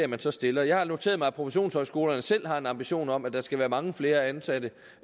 man så stiller jeg har noteret mig at professionshøjskolerne selv har en ambition om at der skal være mange flere ansatte